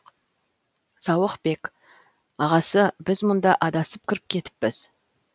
сауықбек ағасы біз мұнда адасып кіріп кетіппіз